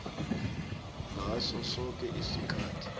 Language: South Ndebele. ngaso soke isikhathi